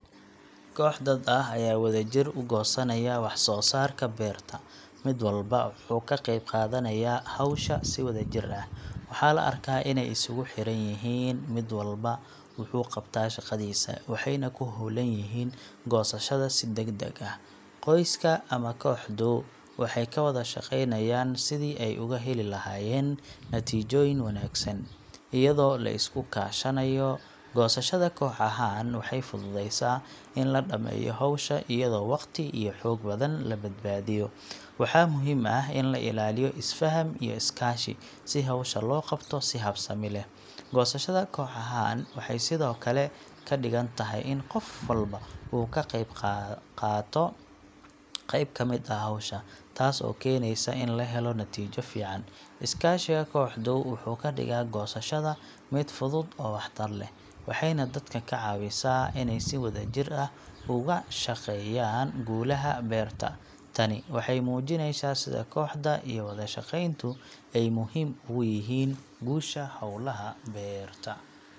Koox dad ah ayaa wadajir u goosanaya wax soo saarka beerta, mid walba wuxuu ka qeyb qaadanayaa hawsha si wadajir ah. Waxaa la arkaa inay si isugu xiran yihiin, mid walba wuxuu qabtaa shaqadiisa, waxayna ku howlan yihiin goosashada si degdeg ah. Qoyska ama kooxdu waxay ka wada shaqeynayaan sidii ay uga heli lahaayeen natiijooyin wanaagsan, iyadoo la isku kaashanayo. Goosashada koox ahaan waxay fududeysaa in la dhammeeyo hawsha iyadoo waqti iyo xoog badan la badbaadiyo. Waxaa muhiim ah in la ilaaliyo isfaham iyo iskaashi si hawsha loo qabto si habsami leh. Goosashada koox ahaan waxay sidoo kale ka dhigan tahay in qof walba uu ka qeyb qaato qayb ka mid ah hawsha, taas oo keenaysa in la helo natiijo fiican. Iskaashiga kooxdu wuxuu ka dhigaa goosashada mid fudud oo waxtar leh, waxayna dadka ka caawisaa inay si wadajir ah uga shaqeeyaan guulaha beerta. Tani waxay muujinaysaa sida kooxda iyo wada shaqeyntu ay muhiim ugu yihiin guusha hawlaha beerta.